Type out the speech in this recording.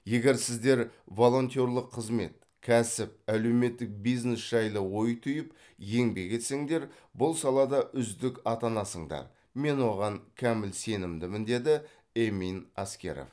егер сіздер волонтерлық қызмет кәсіп әлеуметтік бизнес жайлы ой түйіп еңбек етсеңдер бұл салада үздік атанасыңдар мен оған кәміл сенімдімін деді эмин аскеров